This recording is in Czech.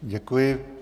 Děkuji.